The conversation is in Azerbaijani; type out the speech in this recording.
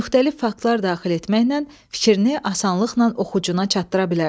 müxtəlif faktlar daxil etməklə fikrini asanlıqla oxucuya çatdıra bilərsən.